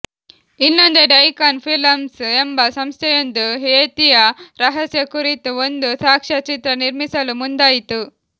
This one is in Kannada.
ಇನ್ನೊಂದೆಡೆ ಐಕಾನ್ ಫಿಲಂಸ್ ಎಂಬ ಸಂಸ್ಥೆಯೊಂದು ಯೇತಿಯ ರಹಸ್ಯ ಕುರಿತು ಒಂದು ಸಾಕ್ಷ್ಯಚಿತ್ರ ನಿರ್ಮಿಸಲು ಮುಂದಾಯಿತು